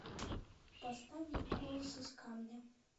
поставь голос из камня